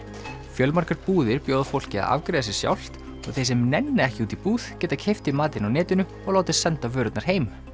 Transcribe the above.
fjölmargar búðir bjóða fólki að afgreiða sig sjálft og þeir sem nenna ekki út í búð geta keypt í matinn á netinu og látið senda vörurnar heim